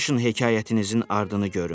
Danışın hekayətinizin ardını görüm.